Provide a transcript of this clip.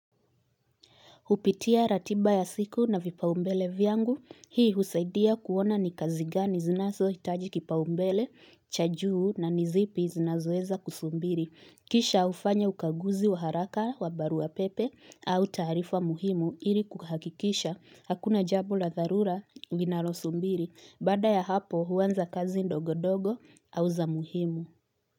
Hupitia ratiba ya siku na vipaumbele vyangu. Hii husaidia kuona ni kazi gani zinazo hitaji kipaumbele, cha juu na ni zipi zinazoeza kusubiri. Kisha hufanya ukaguzi wa haraka wa baruapepe au taarifa muhimu ili kuhakikisha. Hakuna jambo la dharura linalosubiri. Baada ya hapo huanza kazi ndogo ndogo au za muhimu.